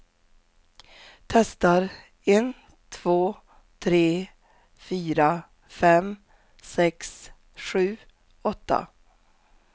Testar en två tre fyra fem sex sju åtta.